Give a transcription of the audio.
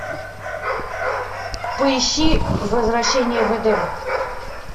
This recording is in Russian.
поищи возвращение в эдем